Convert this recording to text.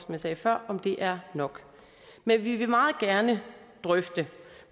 jeg sagde før om det er nok men vi vil meget gerne drøfte